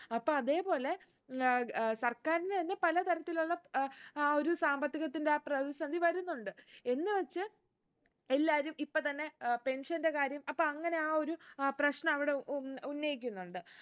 അപ്പൊ അതെ പോലെ ഏർ ഏർ സർക്കാരിന് തന്നെ പല തരത്തിലുള്ള ഏർ ആ ഒരു സാമ്പത്തികത്തിന്റെ ആ പ്രതിസന്ധി വരുന്നുണ്ട് എന്ന് വെച്ച് എല്ലാറം ഇപ്പൊ തന്നെ ഏർ pension ന്റെ കാര്യം അപ്പൊ അങ്ങനെ ആ ഒരു അഹ് പ്രശ്നം അവിടെ ഉൻ ഉന്നയിക്കുന്നുണ്ട്